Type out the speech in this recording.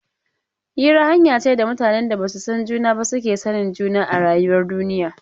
Hira hanya ce da mutanen da ba su san juna ba suke sanin juna a rayuwar duniya.